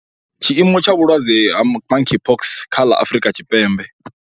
Tshiimo tsha vhulwadze ha Monkeypox kha ḽa Afrika Tshipembe.